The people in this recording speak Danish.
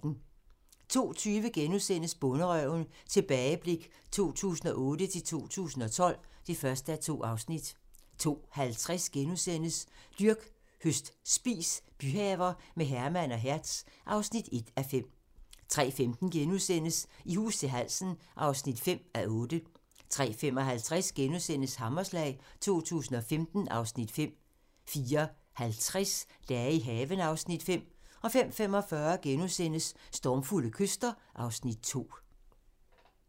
02:20: Bonderøven - tilbageblik 2008-2012 (1:2)* 02:50: Dyrk, høst, spis - byhaver med Herman og Hertz (1:5)* 03:15: I hus til halsen (5:8)* 03:55: Hammerslag 2015 (Afs. 5)* 04:50: Dage i haven (Afs. 5) 05:45: Stormfulde kyster (Afs. 2)*